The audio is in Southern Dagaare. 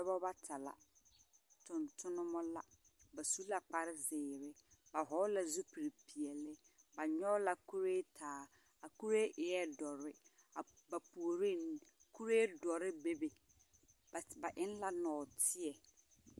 Dͻbͻ bata la. Tontonemͻ la. Ba su la kpare zeere, ba vͻgele la zupili peԑle. Ba nyͻge la kuree taa. A kuree eԑԑ dõͻre. Ba puoree ŋmene, kuree dͻre bebe. Ba ba eŋ la nͻͻteԑ.